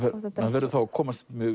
verður að komast